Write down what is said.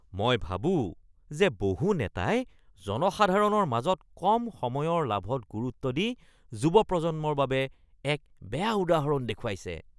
মই ভাবোঁ যে বহু নেতাই জনসাধাৰণৰ মাজত কম সময়ৰ লাভত গুৰুত্ব দি যুৱ প্ৰজন্মৰ বাবে এক বেয়া উদাহৰণ দেখুৱাইছে।